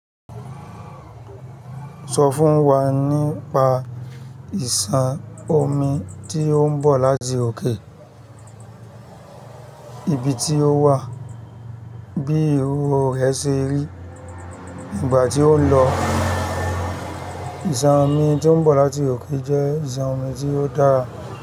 Sọ fún wa nípa ìsàn omi tí ó ń bọ̀ láti òkè. Ibi tí ó wà bí owo rẹ ṣe rí ìgbà tí ó ń lọ. Isan omi tó ń bọ̀ láti òkè jẹ́ ìsàn omi tí ó dára.